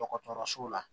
Dɔgɔtɔrɔso la